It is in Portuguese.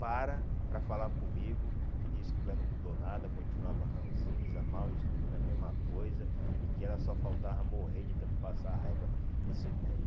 para para falar comigo, que disse que o velho não mudou nada, continuava ranzinza, mal, estúpido, a mesma coisa, e que ela só faltava morrer de tanto passar raiva desse velho.